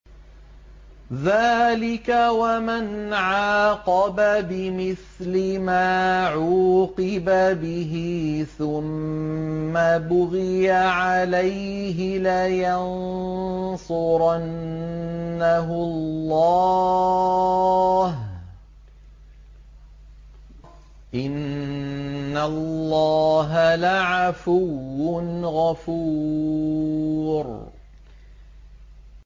۞ ذَٰلِكَ وَمَنْ عَاقَبَ بِمِثْلِ مَا عُوقِبَ بِهِ ثُمَّ بُغِيَ عَلَيْهِ لَيَنصُرَنَّهُ اللَّهُ ۗ إِنَّ اللَّهَ لَعَفُوٌّ غَفُورٌ